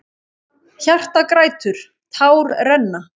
Hjartað grætur, tár renna.